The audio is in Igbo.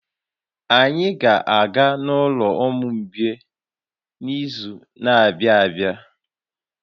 Anyị ga-aga n'ụlọ ụmụ mgbei n'izu na-abịa abịa